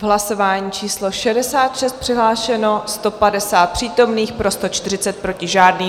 V hlasování číslo 66 přihlášeno 150 přítomných, pro 140, proti žádný.